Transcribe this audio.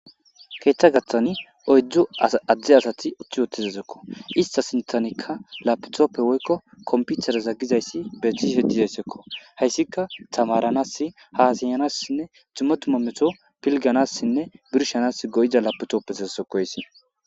keeththa gaththani oydzdzu adzde asati utthi wotizasekko ista sintanikka lapetoppe woykko komputereza gizayssi betihlshe dizayssekko hayssika tamaranas haasiyanassinne cimotumometo pilganassinne birshanas goyida lapetoppesezeseko haysi